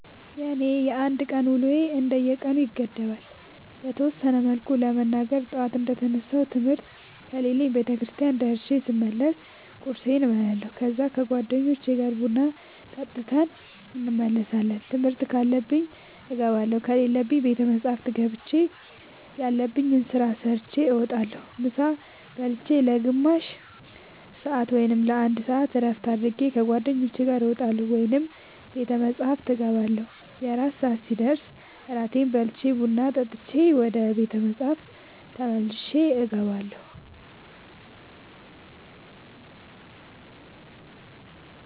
የኔ የአንድ ቀን ውሎዬ እንደ ቀኑ ይገደባል። በተወሰነ መልኩ ለመናገር ጠዋት እንደ ተነሳሁ ትምህርት ከሌለብኝ ቤተክርስቲያን ደርሼ ስመለስ ቁርስ እበላለሁ ከዛ ከ ጓደኞቼ ጋር ቡና ጠጥተን እንመለሳለን ትምህርት ካለብኝ እገባለሁ ከሌለብኝ ቤተ መፅሐፍ ገብቼ ያለብኝን ስራ ሰርቼ እወጣለሁ። ምሳ ብልቼ ለ ግማሽ ሰአት ወይም ለ አንድ ሰአት እረፍት አድርጌ ከ ጓደኞቼ ጋር እወጣለሁ ወይም ቤተ መፅሐፍ እገባለሁ። የእራት ሰአት ሲደርስ እራቴን በልቼ ቡና ጠጥቼ ወደ ቤተ መፅሐፍ ተመልሼ እገባለሁ።